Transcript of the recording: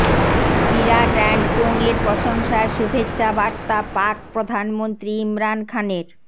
বিরাট and কোংয়ের প্রশংসায় শুভেচ্ছাবার্তা পাক প্রধানমন্ত্রী ইমরান খানের